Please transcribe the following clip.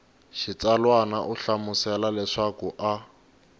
xitsalwana u hlamusela leswaku a